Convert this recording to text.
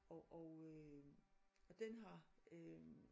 Og og øh og den har